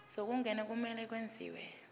zokungena kumele kwenziwe